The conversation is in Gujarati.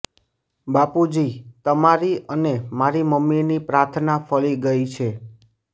બાપુજી તમારી અને મારી મમ્મીની પ્રાર્થના ફળી ગઈ છે